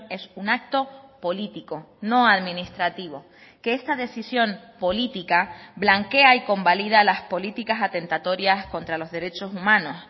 es un acto político no administrativo que esta decisión política blanquea y convalida las políticas atentatorias contra los derechos humanos